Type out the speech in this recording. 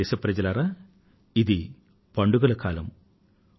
ప్రియమైన నా దేశ వాసులారా ఇది పండుగల కాలం